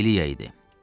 İliya idi.